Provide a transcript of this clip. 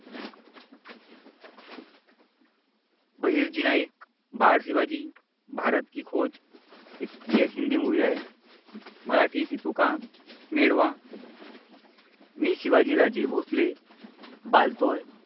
बहिर्जी नाईक बाळ शिवाजी भारत की खोज एक हिंदी मूवी आहे. मराठी ती तुका मिळवा मी शिवाजीराजे भोसले बालतोय.